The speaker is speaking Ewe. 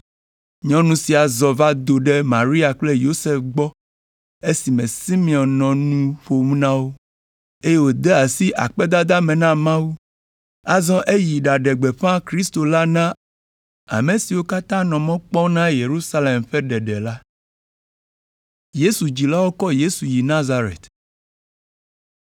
Nyɔnu sia zɔ va do ɖe Maria kple Yosef gbɔ esime Simeon nɔ nu ƒom na wo, eye wode asi akpedada me na Mawu. Azɔ eyi ɖaɖe gbeƒã Kristo la na ame siwo katã nɔ mɔ kpɔm na Yerusalem ƒe ɖeɖe la.